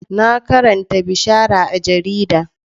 Na karanta bishara a jarida.